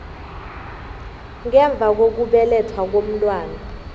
ngemva kokubelethwa komntwana